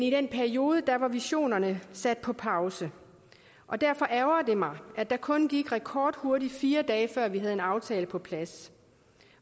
i den periode har visionerne sat på pause og derfor ærgrer det mig at der kun gik rekordhurtige fire dage før vi havde en aftale på plads